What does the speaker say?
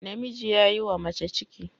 Namiji ya yiwa mace ciki